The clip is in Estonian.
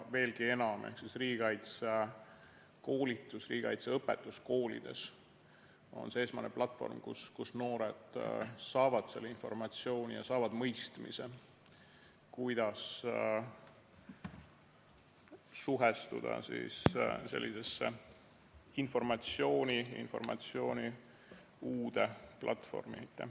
Veelgi enam: riigikaitsekoolitus, riigikaitseõpetus koolides on see esmane platvorm, kus noored saavad selle informatsiooni ja mõistmise, kuidas suhestuda sellise uue informatsioonplatvormiga.